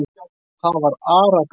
Það var Ara-Gráni.